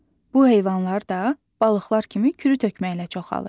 Bu heyvanlar da balıqlar kimi kürütökməklə çoxalır.